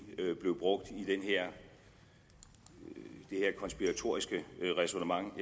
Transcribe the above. blev brugt i det her konspiratoriske ræsonnement